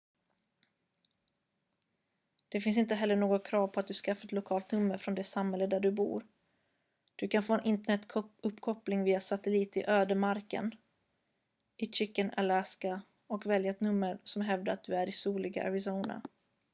det finns inte heller något krav på att du skaffar ett lokalt nummer från det samhälle där du bor du kan få en internetuppkoppling via satellit i ödemarken i chicken alaska och välja ett nummer som hävdar att du är i soliga arizona